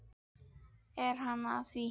Er hann að því?